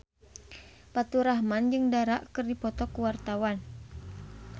Faturrahman jeung Dara keur dipoto ku wartawan